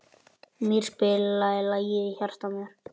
Mír, spilaðu lagið „Í hjarta mér“.